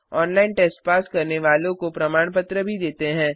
online test pass करने वालों को प्रमाण पत्र भी देते हैं